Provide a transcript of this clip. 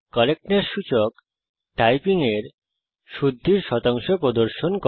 correctness সূচক typing এর শুদ্ধির শতাংশ প্রদর্শন করে